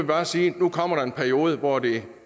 bare sige at nu kommer der en periode hvor det er